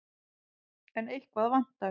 En eitthvað vantar.